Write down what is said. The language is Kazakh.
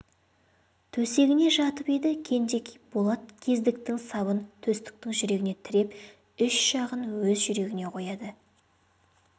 төсегіне жатып еді кенжекей болат кездіктің сабын төстіктің жүрегіне тіреп үш жағын өз жүрегіне қояды